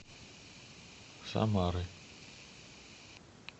самары